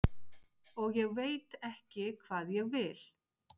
og ég veit ekki hvað ég vil.